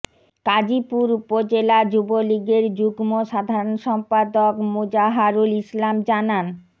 কাজিপুর উপজেলা যুবলীগের যুগ্ম সাধারণ সম্পাদক মোজাহারুল ইসলাম জানান